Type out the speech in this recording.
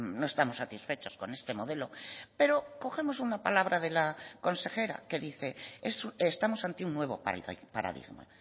no estamos satisfechos con este modelo pero cogemos una palabra de la consejera que dice estamos ante un nuevo paradigma